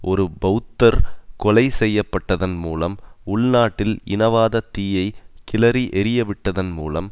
ஒரு பெளத்தர் கொலை செய்ய பட்டதன் மூலம் உள்நாட்டில் இனவாத தீயை கிளறி எரியவிட்டதன் மூலம்